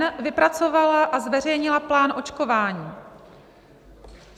n) vypracovala a zveřejnila plán očkování.